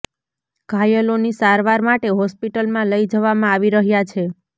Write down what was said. ઘાયલોની સારવાર માટે હોસ્પિટલમાં લઈ જવામાં આવી રહ્યા છે